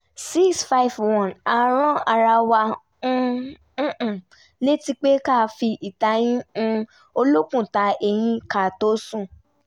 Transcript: six five one a rán ara wa um létí pé ká fi ìtayín um olókùn ta eyín ká tó sùn